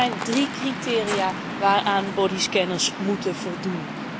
Er zijn drie criteria waaraan bodyscanners moeten voldoen.